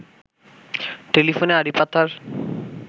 টেলিফোনে আড়িপাতার